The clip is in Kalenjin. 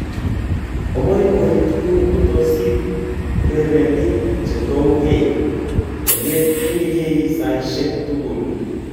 Oboiboitu kotosich urerenik chetouge. Ogetyinige saishek tugul.